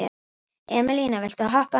Emelíana, viltu hoppa með mér?